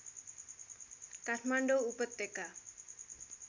काठमाडौँ उपत्यका